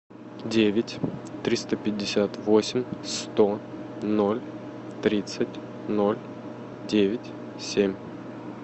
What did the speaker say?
девять триста пятьдесят восемь сто ноль тридцать ноль девять семь